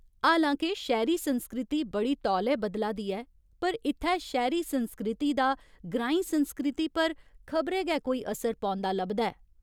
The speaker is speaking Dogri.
हालां के शैह्‌री संस्कृति बड़ी तौले बदला दी ऐ पर इत्थै शैह्‌री संस्कृति दा ग्रांईं संस्कृति पर खबरै गै कोई असर पौंदा लभदा ऐ।